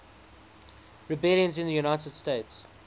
rebellions in the united states